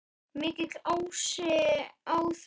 Mikill asi á þeim.